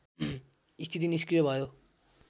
स्थिति निस्क्रिय भयो